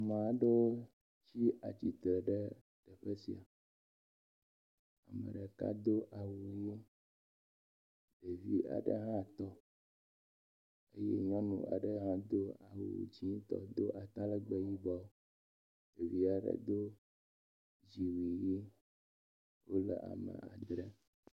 ma aɖewo tsi tsitre ɖe ƒesia meɖeka do awu yi ɖevi aɖe hã dó eye nyɔŋu aɖe hã do awu dzĩtɔ dó atalegbe yibɔ ɖeviaɖe do dziwui yi wóle ame andre